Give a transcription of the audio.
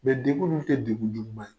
Mɛ degun ninnu tɛ degun juguman ye.